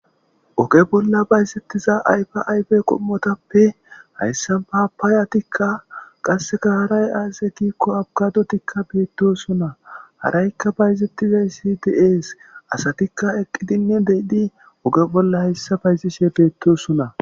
Oge bolla bayzetiza ayfa ayfe qimmotape haysa papayatika qaseka haray aze giko apukadotika betiosona harayka bayzetizays de'es asatika eqidinne oge bolla bayzishe betosona